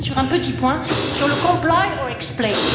Kármán sur un petit point, sur le comply or explain